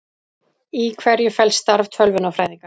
Í hverju felst starf tölvunarfræðinga?